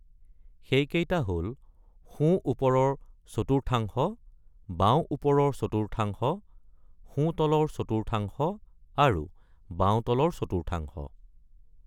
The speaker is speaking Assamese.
সেইকেইটা হ'ল সোঁ ওপৰৰ চতুৰ্থাংশ, বাওঁ ওপৰৰ চতুৰ্থাংশ, সোঁ তলৰ চতুৰ্থাংশ, আৰু বাওঁ তলৰ চতুৰ্থাংশ।